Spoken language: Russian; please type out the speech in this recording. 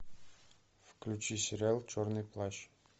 включи сериал черный плащ